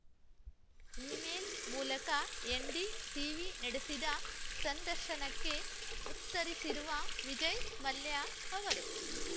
email ಮೂಲಕ NDTV ನಡೆಸಿದ ಸಂದರ್ಶನಕ್ಕೆ ಉತ್ತರಿಸಿರುವ ವಿಜಯ್‌ ಮಲ್ಯ ಅವರು